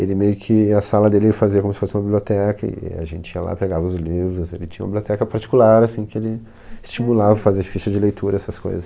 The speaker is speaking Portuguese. Ele meio que, a sala dele ele fazia como se fosse uma biblioteca, e a gente ia lá, pegava os livros, ele tinha uma biblioteca particular, assim, que ele estimulava a fazer ficha de leitura, essas coisas.